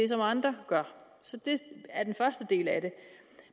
til andre så det er den første del af det